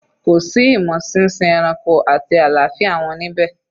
Kò sí imo sínsin ẹranko àti àlàáfíà wọn níbẹ̀?